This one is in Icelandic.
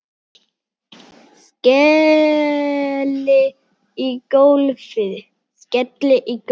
Skelli í gólfið.